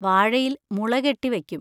വാഴയില്‍ മുള കെട്ടി വെക്കും.